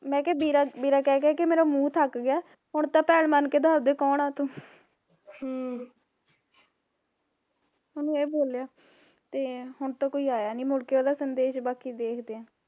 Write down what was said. ਮੈਂ ਕਿਹਾ ਵੀਰਾ ਵੀਰਾ ਕਹਿ ਕਹਿ ਮੇਰਾ ਮੂਹ ਥੱਕ ਗਿਆ ਹੁਣ ਤਾਂ ਭੈਣ ਬਣ ਕੇ ਦੱਸ ਦੇ ਕੋਨ ਹੈ ਤੂ ਹਮ ਉਹਨੇ ਇਹ ਬੋਲਿਆ, ਤੇ ਹੁਣ ਤਾਂ ਕੋਈ ਆਇਆ ਨੀ ਮੁੜ ਕੇ ਉਹਦਾ ਸੰਦੇਸ਼, ਬਾਕੀ ਦੇਖਦੇ ਆ